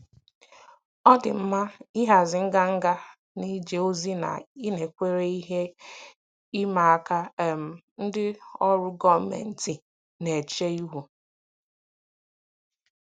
Ọ dị mkpa ịhazi nganga n'ije ozi na ịnakwere ihe ịma aka um ndị ọrụ gọọmentị na-eche ihu.